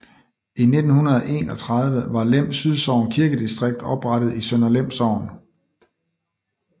I 1931 var Lem Sydsogn Kirkedistrikt oprettet i Sønder Lem Sogn